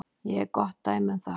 Ég er gott dæmi um það.